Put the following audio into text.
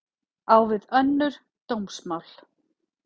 Á við önnur dómsmál